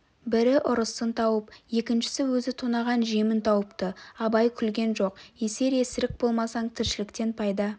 бірі ұрысын тауып екіншісі өзі тонаған жемін тауыпты абай күлген жоқ есер есірік болмасаң тіршіліктен пайда